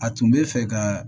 A tun bɛ fɛ ka